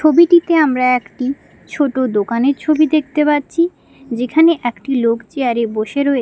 ছবিটিতে আমরা একটি ছোট দোকানের ছবি দেখতে পাচ্ছি যেখানে একটি লোক চেয়ার -এ বসে রয়ে --